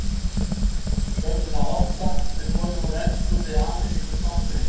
Sögnin að olla mun komin úr ensku eða amerísku slangri.